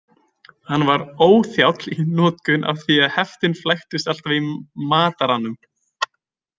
Hann var óþjáll í notkun af því heftin flæktust alltaf í mataranum.